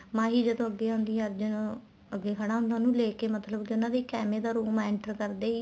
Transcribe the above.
ਮਾਹੀ ਜਦੋਂ ਅੱਗੇ ਆਉਦੀ ਆ ਅਰਜੁਨ ਉਹਨੂੰ ਅੱਗੇ ਖੜਾ ਹੁੰਦਾ ਆ ਉਹਨੂੰ ਲੈਕੇ ਮਤਲਬ ਕੇ ਉਹਨਾ ਦੇ ਇੱਕ ਐਵੇਂ ਦਾ room enter ਕਰਦੇ ਹੀ